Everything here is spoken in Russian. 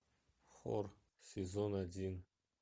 хор сезон один